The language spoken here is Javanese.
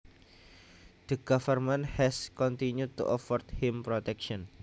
The Government has continued to afford him protection